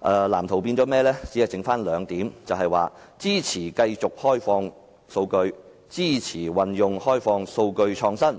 但在藍圖內卻變成只有兩點，便是支持繼續開放數據及支持運用開放數據創新。